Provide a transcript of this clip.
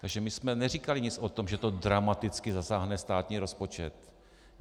Takže my jsme neříkali nic o tom, že to dramaticky zasáhne státní rozpočet.